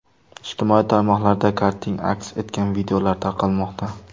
Ijtimoiy tarmoqlarda karting aks etgan videolar tarqalmoqda.